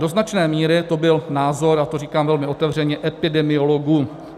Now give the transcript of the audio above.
Do značné míry to byl názor, a to říkám velmi otevřeně, epidemiologů.